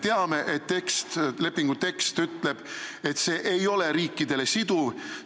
Me teame, et lepingu tekst ütleb, et see ei ole riikidele siduv.